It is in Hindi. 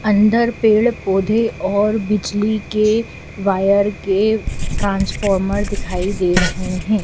अंदर पेड़ पौधे और बिजली के वायर के ट्रांसफॉर्मर दिखाई दे रहे हैं।